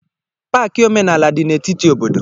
Paaki omenala dị na etiti obodo.